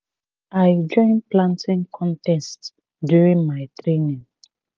i join planting contest during my training